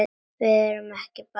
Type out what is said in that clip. Ekki verðum við bara fjögur?